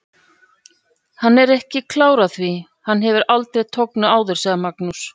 Hann er ekki klár á því, hann hefur aldrei tognað áður, sagði Magnús.